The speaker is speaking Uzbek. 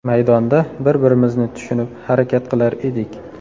Maydonda bir-birimizni tushunib harakat qilar edik.